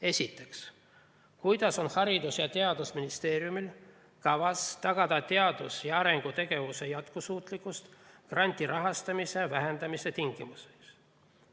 Esiteks, kuidas on Haridus‑ ja Teadusministeeriumil kavas tagada teadus‑ ja arendustegevuse jätkusuutlikkus grandirahastuse vähenemise tingimustes?